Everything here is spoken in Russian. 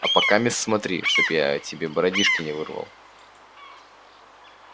а покамест смотри чтоб я тебе бородишки не вырвал